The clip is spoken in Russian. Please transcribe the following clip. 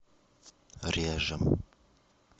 режем